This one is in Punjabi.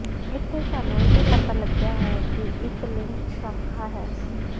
ਇੱਥੇ ਸਾਨੂੰ ਇਹ ਪਤਾ ਲੱਗਿਆ ਹੈ ਕਿ ਇੱਕ ਲਿੰਕ ਸ਼ਾਖਾ ਹੈ